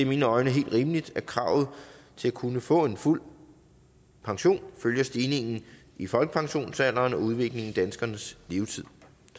mine øjne helt rimeligt at kravet til at kunne få en fuld pension følger stigningen i folkepensionsalderen og udviklingen i danskernes levetid